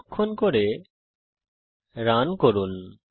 সংরক্ষণ করে রান করুন